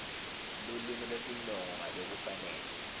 lulwimi lwetinongo ngalokufanele